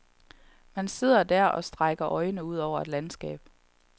Man sidder der og strække øjnene ud over et landskab.